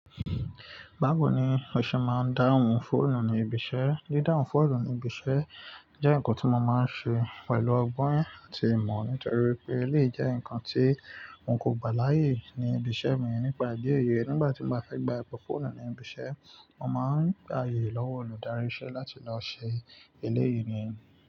Báwo ni o ṣe máa ń dáhùn fóònù ní ibi iṣẹ́? Didáhùn fóònù ní ibi iṣẹ́ jẹ́ ǹkan tí mo máa ń ṣe pẹ̀lú ọgbọ́n àti ìmọ̀ nítorí pé, eleyi jẹ́ ǹkan tí won kò gbà láyè ní ibi iṣẹ́ mi nípa idi eyi. Nígbà tí n bá fẹ́ gba ipe fóònù ní ibi iṣẹ́, mo máa ń gbà ààyè lọ́wọ́ olùdarí iṣẹ́ láti lọ ṣe eléyìí ni.